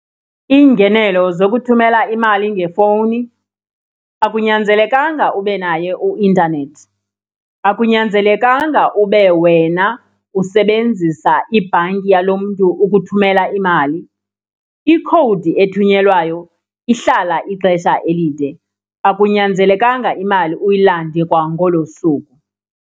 Iingenelo zokuthumela imali ngefowuni, akunyanzelekanga ube naye uintanethi, akunyanzelekanga ube wena usebenzisa ibhanki yalo mntu ukuthumela imali. Ikhowudi ethunyelwayo ihlala ixesha elide, akunyanzelekanga imali uyilande kwangolo suku.